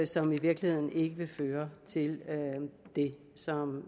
som i virkeligheden ikke vil føre til det som